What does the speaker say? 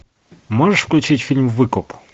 можешь включить фильм выкуп